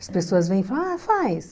As pessoas vêm e falam, ah, faz.